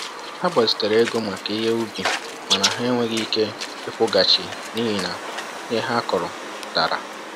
Ha gbazitere ego maka ihe ubi mana ha enweghị ike ịkwụghachi n’ihi na ihe ha kụrụ dara.